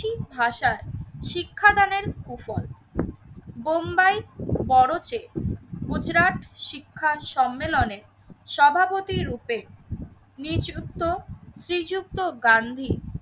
ভাষায় শিক্ষাদানের কুফল বোম্বাই, বরচে, গুজরাট, শিক্ষার সম্মেলনে সভাপতি রূপে নিজ উক্ত শ্রীযুক্ত গান্ধী